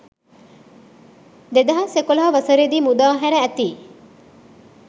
2011 වසරේදී මුදා හැර ඇති